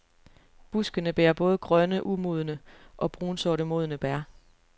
Buskene bærer både grønne umodne og brunsorte modne bær.